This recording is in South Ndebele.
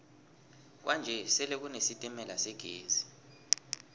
kwanje sele kune sitemala segezi